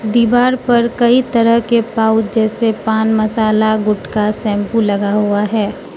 दीवार पर कई तरह के पाउच जैसे पान मसाला गुटखा शैंपू लगा हुआ है।